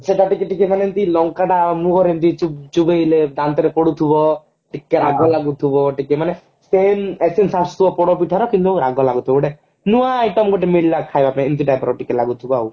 ସେଟା ଟିକେ ଟିକେ ଏମତି ଲଙ୍କାଟା ମୁହଁ ରେ ଏମତି ଚୁଭ ଚୁଭେଇଲେ ଦାନ୍ତରେ ପୋଡୁଥିବ ଟିକେ ରାଗ ଲାଗୁଥିବ ଟିକେ ମାନେ same essence ଆସୁଥିବ ପୋଡପିଠାର କିନ୍ତୁ ରାଗ ଲାଗୁଥିବ ଗୋଟେ ନୂଆ item ଗୋଟେ ମିଳିଲା ଖାଇବା ପାଇଁ ଏମତି type ର ଟିକେ ଲାଗୁଥିବ ଆଉ